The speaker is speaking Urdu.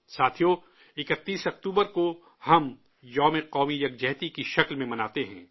ساتھیو، 31 اکتوبر کو ہم 'راشٹریہ ایکتا دیوس' کے طور پر مناتے ہیں